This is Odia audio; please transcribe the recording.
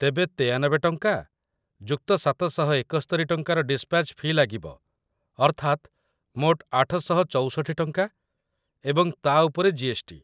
ତେବେ ୯୩ ଟଙ୍କା + ୭୭୧ ଟଙ୍କାର ଡିସ୍‌ପାଚ୍‌ ଫି' ଲାଗିବ, ଅର୍ଥାତ୍‌, ମୋଟ ୮୬୪ ଟଙ୍କା ଏବଂ ତା' ଉପରେ ଜି.ଏସ୍‌.ଟି ।